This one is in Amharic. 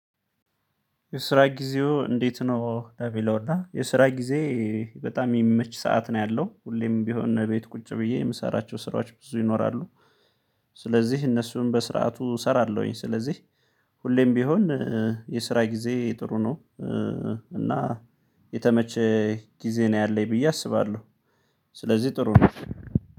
የስራ ጊዜው እንዴት ነው? ለሚለውና የስራ ጊዜ በጣም የሚመች ሰዓት ነው ያለው ሁሌም ቢሆን ቤት ቁጭ ብዬ የምሰራቸው ስራዎች ብዙ ይኖራሉ። ስለዚህ እነሱን በስርዓቱ እሰራለሁኝ። ስለዚህ ሁሌም ቢሆን የስራ ጊዜ ጥሩ ነው። እና የተመቸ ጊዜ ነው ያለኝ ብዬ አስባለሁ። ስለዚህ ጥሩ ነው።